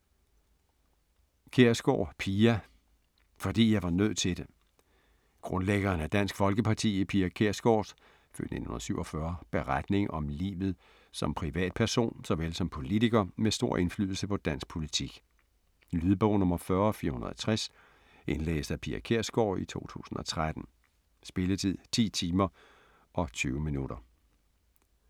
Kjærsgaard, Pia: Fordi jeg var nødt til det Grundlæggeren af Dansk Folkeparti, Pia Kjærsgaards (f. 1947) beretning om livet som privatperson såvel som politiker med stor indflydelse på dansk politik. Lydbog 40460 Indlæst af Pia Kjærsgaard, 2013. Spilletid: 10 timer, 20 minutter.